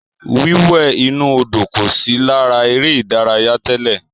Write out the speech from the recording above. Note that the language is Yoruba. Wíwẹ̀ inú Odò kò sí lára eré ìdárayá tẹ́lẹ̀.